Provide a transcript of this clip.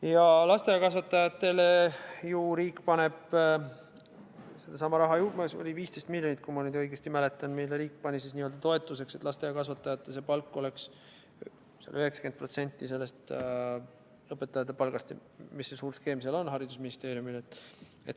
Ja lasteaiakasvatajatele ju riik paneb, seda oli 15 miljonit, kui ma nüüd õigesti mäletan, mille riik pani toetuseks, et lasteaiakasvatajate palk oleks 90% õpetajate palgast, või mis see suur skeem haridusministeeriumil on.